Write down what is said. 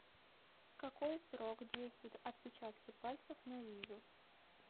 какой срок действуют отпечатки пальцев на визу